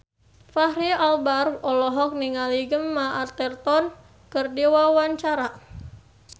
Fachri Albar olohok ningali Gemma Arterton keur diwawancara